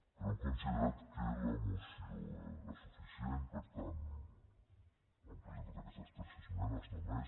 però hem considerat que la moció era suficient per tant hi hem presentat aquestes tres esmenes només